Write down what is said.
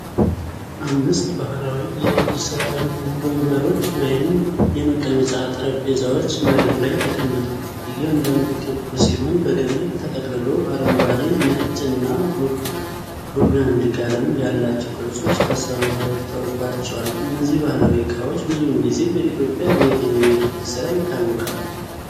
አምስት ባህላዊ የእጅ ሥራ የሆኑ ወንበሮች ወይም የመቀመጫ ጠረጴዛዎች መሬት ላይ ተቀምጠዋል። እያንዳንዱ ክብ ሲሆን በገመድ ተጠቅልሎ አረንጓዴ፣ ነጭ እና ቡርጋንዲ ቀለም ያላቸው ቅርጾች ተሰርተውባቸዋል። እነዚህ ባህላዊ ዕቃዎች ብዙውን ጊዜ በኢትዮጵያ በየትኛው የእጅ ሥራ ይታወቃሉ?